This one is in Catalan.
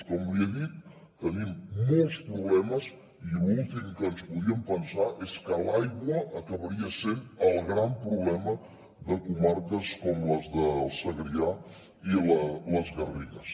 com li he dit tenim molts problemes i l’últim que ens podíem pensar és que l’aigua acabaria sent el gran problema de comarques com les del segrià i les garrigues